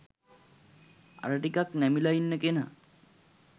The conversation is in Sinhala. අර ටිකක් නැමිලා ඉන්න කෙනා